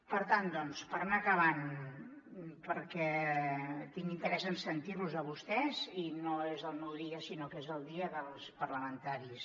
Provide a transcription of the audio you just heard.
per tant doncs per anar acabant perquè tinc interès en sentir los a vostès i no és el meu dia sinó que és el dia dels parlamentaris